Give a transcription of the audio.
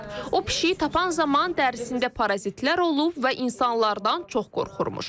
O pişiyi tapan zaman dərisində parazitlər olub və insanlardan çox qorxurmuş.